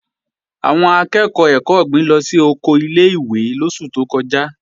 Àwọn akẹ́ẹ̀kọ́ ẹ̀kọ́ ọ̀gbìn lọ sí oko ilé-ìwé lóṣù tó kọjá